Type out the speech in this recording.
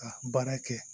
Ka baara kɛ